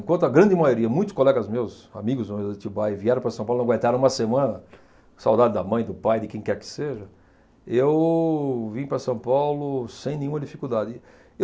Enquanto a grande maioria, muitos colegas meus, amigos meus de Atibaia, vieram para São Paulo e não aguentaram uma semana, saudade da mãe, do pai, de quem quer que seja, eu vim para São Paulo sem nenhuma dificuldade.